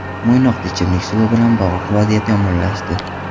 Mo‘ynoqda ichimlik suvi bilan bog‘liq vaziyat yomonlashdi.